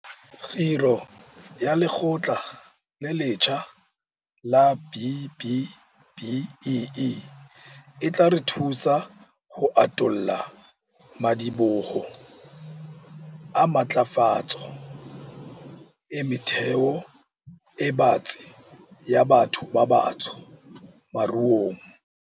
Kgiro ya Lekgotla le letjha la B-BBEE e tla re thusa ho atolla madiboho a matlafatso e metheo e batsi ya batho ba batsho moruong.